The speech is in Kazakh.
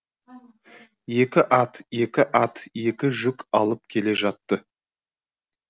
екі ат екі ат екі жүк алып келе жатты